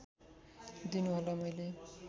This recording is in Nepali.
दिनु होला मैले